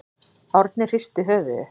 Árni hristi höfuðið.